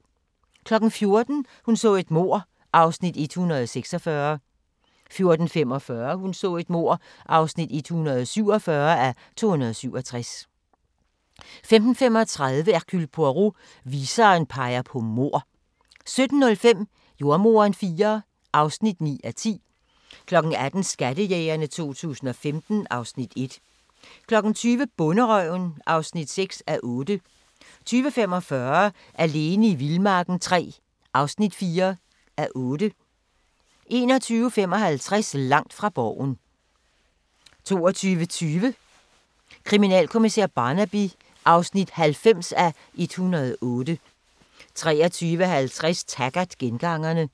14:00: Hun så et mord (146:267) 14:45: Hun så et mord (147:267) 15:35: Hercule Poirot: Viseren peger på mord 17:05: Jordemoderen IV (9:10) 18:00: Skattejægerne 2015 (Afs. 1) 20:00: Bonderøven (6:8) 20:45: Alene i vildmarken III (4:8) 21:55: Langt fra Borgen 22:20: Kriminalkommissær Barnaby (90:108) 23:50: Taggart: Gengangerne